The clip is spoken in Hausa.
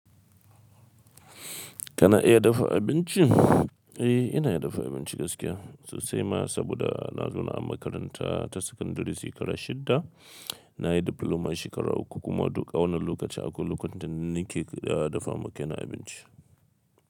Kana iya dafa abinci? Eh, ina iya dafa abinci gaskiya sosai ma saboda na zo na makaranta ta sakandare shekara shidda, na yi diploma shekara uku kuma duka wannan lokaci akwai lokacin da ni ke dafa ma kaina abinci.